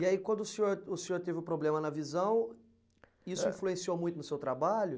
E aí, quando o senhor o senhor teve o problema na visão, isso influenciou muito no seu trabalho?